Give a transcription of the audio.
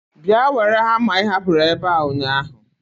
Bịa were hama ị hapụrụ ebe a ụnyaahụ.